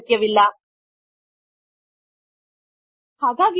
000446 000445 so let us move this field back to the left hand side